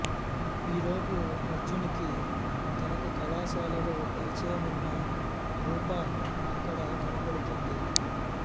ఈ లోపు అర్జున్ కి తనకు కళాశాలలో పరిచయమున్న రూప అక్కడ కనపడుతుంది